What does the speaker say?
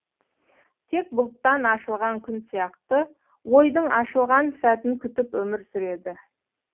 тек бұлттан ашылған күн сияқты ойдың ашылған сәтін күтіп өмір сүреді